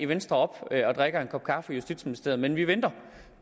venstre og drikker en kop kaffe i justitsministeriet men vi venter